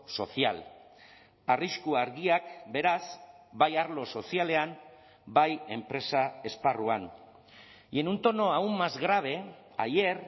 social arrisku argiak beraz bai arlo sozialean bai enpresa esparruan y en un tono aún más grave ayer